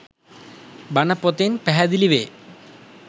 බණ පොතෙන් පැහැදිලි වේ.